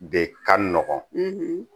De ka nɔgɔn